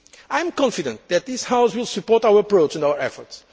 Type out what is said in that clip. the rules. I am confident that this House will support our approach and